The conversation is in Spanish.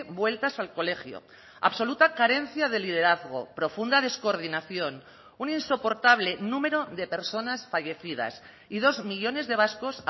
vueltas al colegio absoluta carencia de liderazgo profunda descoordinación un insoportable número de personas fallecidas y dos millónes de vascos